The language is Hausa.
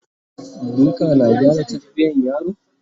duka na gyara tarbiyan yaro?